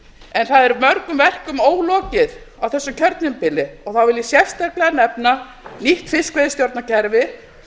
nefnt það er mörgum verkum ólokið á þessu kjörtímabili þá vil ég sérstaklega nefna nýtt fiskveiðistjórnarkerfi